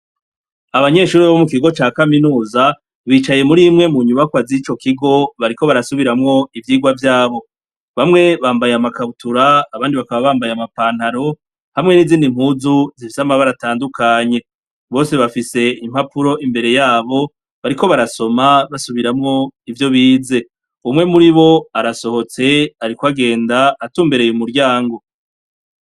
Abanyeshuri babo mu ikigo ca kaminuza bicaye muri imwe mu nyubako az'ico kigo bariko barasubiramwo ivyirwa vyabo bamwe bambaye amakabutura abandi bakaba bambaye amapantaro hamwe n'izindi mpuzu zivsama baratandukanye bose bafise impapuro imbere yabo bariko barasoma basubiramwo ivyoe ize umwe muri bo arasohotse, ariko agenda atumbereye umuryango.